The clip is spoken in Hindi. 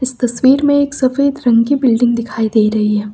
इस तस्वीर में एक सफेद रंग की बिल्डिंग दिखाई दे रही है।